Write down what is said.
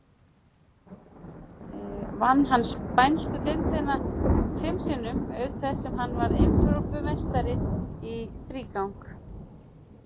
Vann hann spænsku deildina fim sinnum, auk þess sem hann varð Evrópumeistari í þrígang.